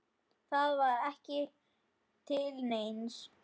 Það var ekki til neins.